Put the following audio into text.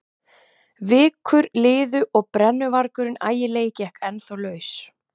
Vikur liðu og BRENNUVARGURINN ÆGILEGI gekk ennþá laus.